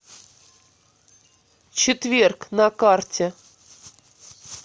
четверг на карте